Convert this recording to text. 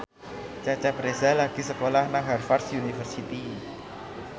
Cecep Reza lagi sekolah nang Harvard university